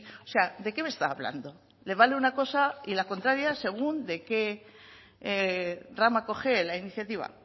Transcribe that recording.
o sea de qué me está hablando le vale una cosa y la contraria según de que rama cojee la iniciativa